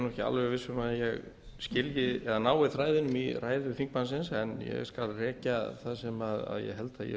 alveg viss um að ég nái fræðunum í ræðu þingmannsins en ég skal rekja það sem ég held að ég